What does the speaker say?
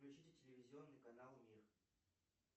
включите телевизионный канал мир